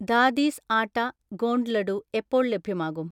ദാദീസ് ആട്ട ഗോണ്ട് ലഡു എപ്പോൾ ലഭ്യമാകും?